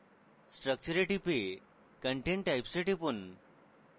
structure এ টিপে content types এ টিপুন